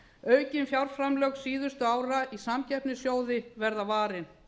aukin fjárframlög síðustu ára í samkeppnissjóði verða varin